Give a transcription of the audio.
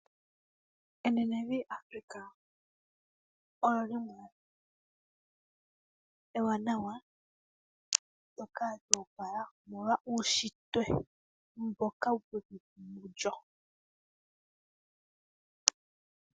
Enenevi Africa olyi li lyimwe ewanawa ndyoka lya opala omolwa uushintwe mboka wuli mu lyo.